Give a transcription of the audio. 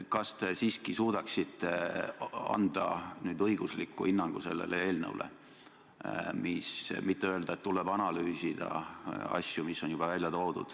Kas te siiski suudaksite anda nüüd õigusliku hinnangu sellele eelnõule, mitte öelda, et tuleb asju analüüsida?